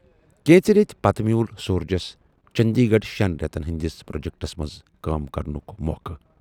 کینژِ ریتۍ پتہٕ میوٗل سورجس چنڈی گڑھ شٮ۪ن رٮ۪تن ہٕندِس پروجیکٹس منز کٲم کرنُک موقہٕ۔